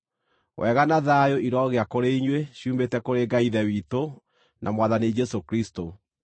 Wega na thayũ irogĩa kũrĩ inyuĩ ciumĩte kũrĩ Ngai Ithe witũ na Mwathani Jesũ Kristũ.